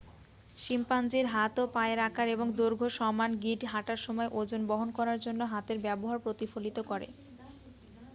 শিম্পাঞ্জির হাত ও পায়ের আকার এবং দৈর্ঘ্য সমান গিঁট হাঁটার সময় ওজন বহন করার জন্য হাতের ব্যবহার প্রতিফলিত করে